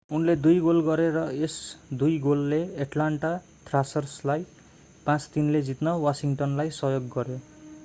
उनले 2 गोल गरे र यस 2 गोलले एट्लान्टा थ्रासर्रलाई 5-3 ले जित्न वासिङ्टनलाई सहयोग गर्‍यो।